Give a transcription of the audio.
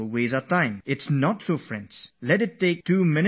It is not like that dear friends